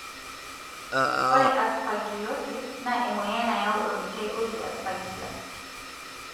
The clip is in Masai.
ore Aspergillosis na emoyian nayau omeitai oji Aspergillus.